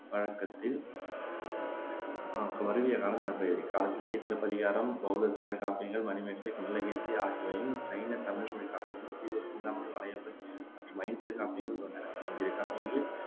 வழக்கத்தில் மருவிய காலம் எனப்படுகிறது இக்காலத்திலேயே சிலப்பதிகாரமும், பெளத்த தமிழ்க் காப்பியங்களான மணிமேகலை, குண்டலகேசி ஆகியவையும், சைன தமிழ்மொழி காப்பியமும் சீவக சிந்தாமணி, வளையாபதி மற்றும் ஐஞ்சிறுகாப்பியங்கள் தோன்றின ஐஞ்சிறுகாப்பியங்களில்